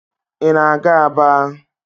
Ị na-aga Aba?